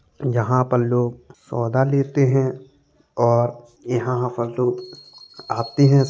यहाँ पर लोग सौदा लेते हैं और यहाँ पर लोग आते हैं।